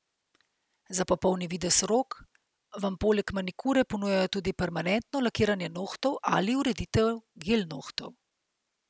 Za popolni videz rok, vam poleg manikure ponujajo tudi permanentno lakiranje nohtov ali ureditev gel nohtov.